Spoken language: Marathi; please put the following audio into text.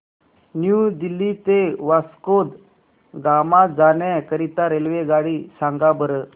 न्यू दिल्ली ते वास्को द गामा जाण्या करीता रेल्वेगाडी सांगा बरं